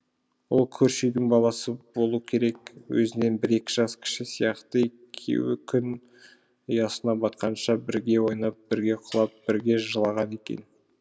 ол көрші үйдің баласы болу керек өзінен бір екі жас кіші сияқты екеуі күн ұясына батқанша бірге ойнап бірге құлап бірге жылаған екен